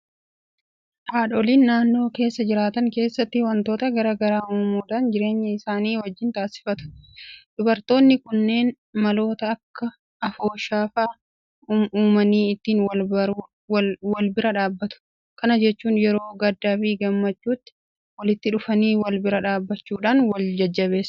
Haadholiin naannoo keessa jiraatan keessatti waantota garaa garaa uumuudhaan jireenya isaanii wajjin taasifatu. Dubartoonni kunneen maloota akka Afooshaa fa'aa uumanii ittiin walbira dhaabbatu. Kana jechuun yeroo gaddaafi gammachuutti walitti dhufanii walbira dhaabbachuudhaan waljajjabeessu.